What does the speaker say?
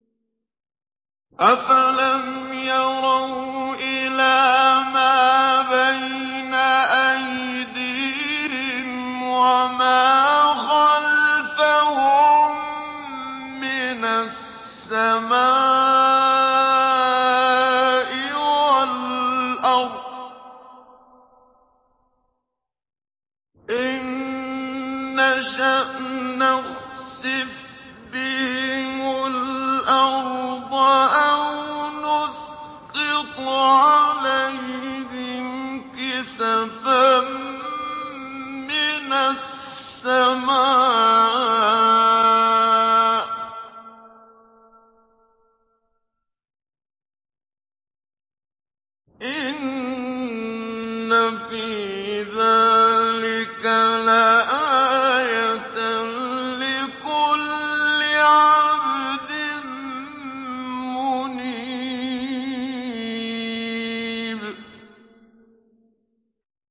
أَفَلَمْ يَرَوْا إِلَىٰ مَا بَيْنَ أَيْدِيهِمْ وَمَا خَلْفَهُم مِّنَ السَّمَاءِ وَالْأَرْضِ ۚ إِن نَّشَأْ نَخْسِفْ بِهِمُ الْأَرْضَ أَوْ نُسْقِطْ عَلَيْهِمْ كِسَفًا مِّنَ السَّمَاءِ ۚ إِنَّ فِي ذَٰلِكَ لَآيَةً لِّكُلِّ عَبْدٍ مُّنِيبٍ